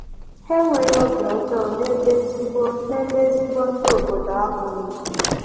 Ha enweghị obi ọjọọ nebe ezigbo nebe ezigbo ndị obodo ahụ nọ.